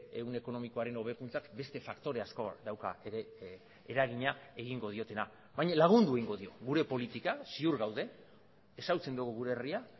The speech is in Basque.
ehun ekonomikoaren hobekuntzak beste faktore asko dauka ere eragina egingo diotena baina lagundu egingo dio gure politika ziur gaude ezagutzen dugu gure herria